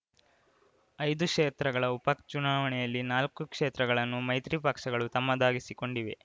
ಐದು ಕ್ಷೇತ್ರಗಳ ಉಪಚುನಾವಣೆಯಲ್ಲಿ ನಾಲ್ಕು ಕ್ಷೇತ್ರಗಳನ್ನು ಮೈತ್ರಿ ಪಕ್ಷಗಳು ತಮ್ಮದಾಗಿಸಿಕೊಂಡಿವೆ